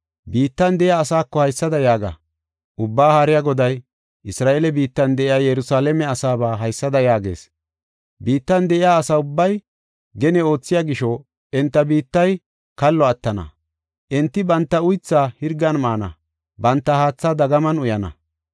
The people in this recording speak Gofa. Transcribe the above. Biittan de7iya asaako haysada yaaga. Ubbaa Haariya Goday Isra7eele biittan de7iya Yerusalaame asaaba haysada yaagees: ‘Biittan de7iya asa ubbay gene oothiya gisho enta biittay kallo attana, enti banta uythaa hirgan maana; banta haatha dagaman uyana.